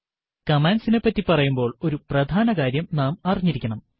കമാൻഡ്സിനെ പ്പറ്റി പറയുമ്പോൾ ഒരു പ്രധാനകാര്യം നാം അറിഞ്ഞിരിക്കേണം